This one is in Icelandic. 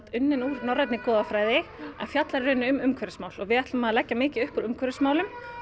unnin úr norrænni goðafræði en fjallar í rauninni um umhverfismál og við ætlum að leggja mikið upp úr umhverfismálum